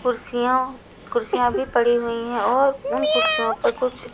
कुर्सियाँ कुर्सियाँ भी पड़ी हुई हैं और उन कुर्सियों पर कुछ--